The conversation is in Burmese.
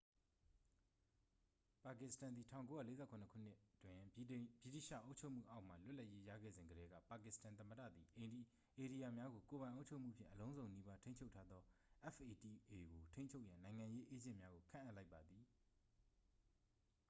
"ပါကစ္စတန်သည် ၁၉၄၇ ခုနှစ်တွင် ဗြိတိသျှအုပ်ချုပ်မှုအောက်မှ လွတ်လပ်ရေးရခဲ့စဉ်ကတည်းက ပါကစ္စတန်သမ္မတသည် ဧရိယာများကို ကိုယ်ပိုင်အုပ်ချုပ်မှုဖြင့် အလုံးစုံနီးပါးထိန်းချုပ်ထားသော fata ကို အုပ်ချုပ်ရန် "နိုင်ငံရေးအေးဂျင့်များ" ကို ခန့်အပ်လိုက်ပါသည်။